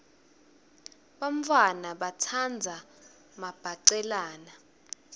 bantfwana batsandza mabhacelana